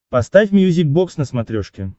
поставь мьюзик бокс на смотрешке